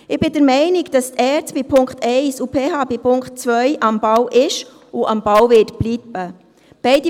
Ich bin der Meinung, dass die ERZ bei Punkt 1 und die PH bei Punkt 2 am Ball sind und am Ball bleiben werden.